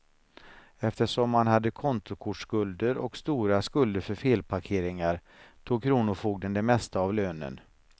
Eftersom han hade kontokortsskulder och stora skulder för felparkeringar tog kronofogden det mesta av lönen.